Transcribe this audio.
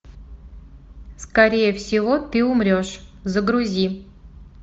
скорее всего ты умрешь загрузи